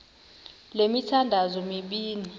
le mithandazo mibini